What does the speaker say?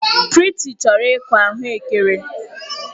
Prịty chọrọ ịkụ ahụekere.